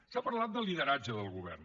s’ha parlat del lideratge del govern